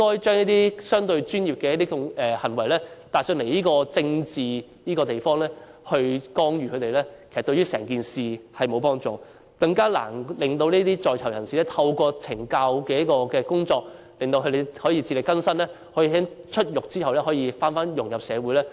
將一些相對專業的行為帶來這個政治的地方加以干預，對事情沒有幫助，令在囚人士更難透過懲教工作自力更生，在出獄後再融入社會。